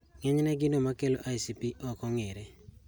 Ng'enyne gino makelo ICP ok ong'ere